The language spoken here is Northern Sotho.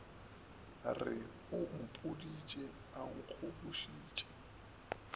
re o mpoditše a nkgobošitše